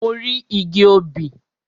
Mo rí igi obì.